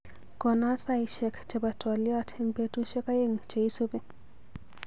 Kona saishek chebo twaliot eng betushek aeng cheisupi.